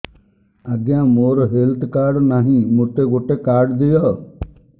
ଆଜ୍ଞା ମୋର health card ନାହିଁ ମୋତେ ଗୋଟେ କାର୍ଡ ଦିଅ